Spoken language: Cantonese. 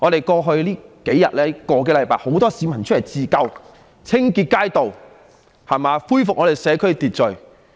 過去的數天、個多星期，很多市民出來自救，清潔街道，恢復社區秩序。